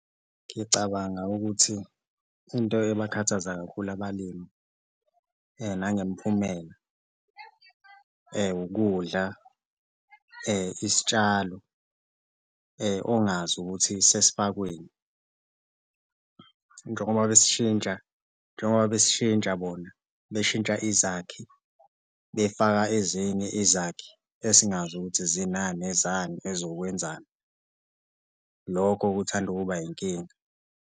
Ngicabanga ukuthi into ebakhathaza kakhulu abalimi nangemphumela ukudla isitshalo ongazi ukuthi sesifakweni njengoba besishintsha njengoba besishintsha bona, beshintsha izakhi befaka ezinye izakhi esingazi ukuthi zinani, ezani, ezokwenzani lokho kuthanda ukuba inkinga.